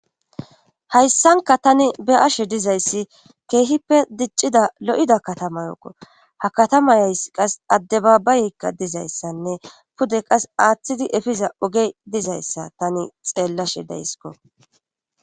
Hayssanka tani be7ashe dizayssi keehippe diccida lo7ida katama yooqo ha katamayays qas adde babayeykka dizayssanne pude qas aaththidi efiza oge dizayssa tani xeellashe daysiko.